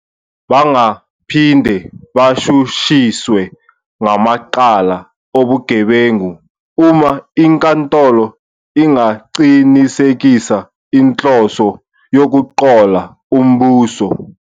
Bangaphinde bashushiswe ngamacala obugebengu uma inkantolo ingaqinisekisa inhloso yokuqola umbuso.